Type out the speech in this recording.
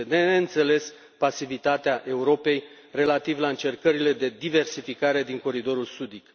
Este de neînțeles pasivitatea Europei relativ la încercările de diversificare din coridorul sudic.